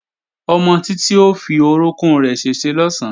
Ọmọ Títí ó fi orókún rẹ̀ ṣèṣe lọ̀sán